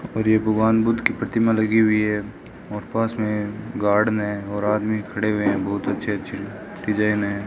और ये भगवान बुद्ध की प्रतिमा लगी हुई है और पास में गार्डन है और आदमी खड़े हुए बहुत अच्छे अच्छे डिजाइन है।